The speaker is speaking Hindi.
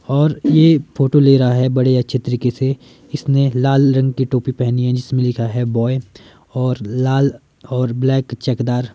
और यह फोटो ले रहा हैबड़े अच्छे तरीके से इसने लाल रंग की टोपी पहनी हैजिसमें लिखा हैबॉय और लाल और ब्लैक चकदार--